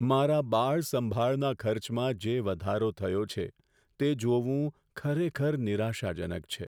મારા બાળ સંભાળના ખર્ચમાં જે વધારો થયો છે તે જોવું ખરેખર નિરાશાજનક છે.